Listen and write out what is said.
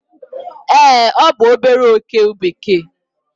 ee, ọ bụ obere oke bekee